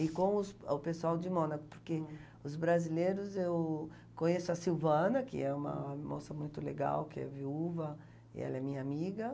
E com os o pessoal de Mônaco, porque os brasileiros, eu conheço a Silvana, que é uma moça muito legal, que é viúva, e ela é minha amiga.